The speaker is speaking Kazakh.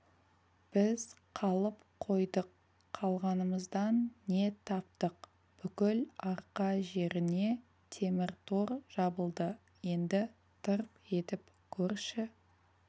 біз қалып қойдық қалғанымыздан не таптық бүкіл арқа жеріне темір тор жабылды енді тырп етіп көрші